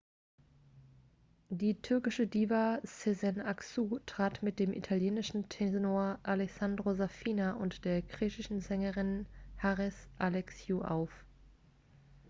die türkische diva sezen aksu trat mit dem italienischen tenor alessandro safina und der griechischen sängerin haris alexiou auf